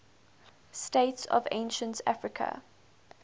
states of ancient africa